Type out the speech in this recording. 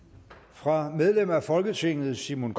fra medlem af folketinget simon